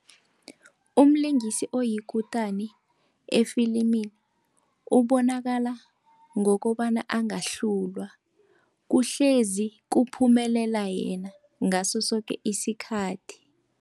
Umlingisi oyikutani efilimini, ubonakala ngokobana angahlulwa kuhlezi kuphumelela yena ngaso soke isikhathi.